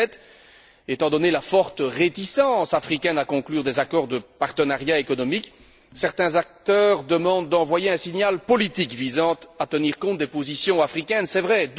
2007. Étant donné la forte réticence africaine à conclure des accords de partenariat économique, certains acteurs demandent d'envoyer un signal politique visant à tenir compte des positions africaines, c'est vrai